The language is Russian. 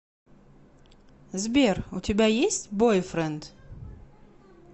сбер у тебя есть бойфренд